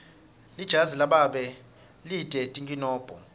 lijazi lababe lite tinkinombo